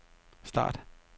start